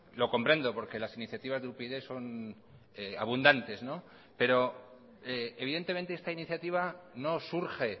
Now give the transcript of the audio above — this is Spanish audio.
lo comprendo porque las iniciativa de upyd son abundantes no pero evidentemente esta iniciativa no surge